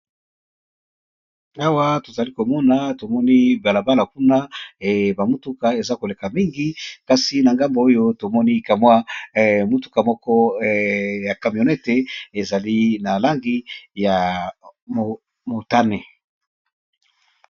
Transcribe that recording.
Awa tozali komona tomoni balabala kuna ba mutuka eza koleka mingi kasi na ngambo oyo tomoni ka mwa mutuka moko ya camionete ezali na langi ya motane.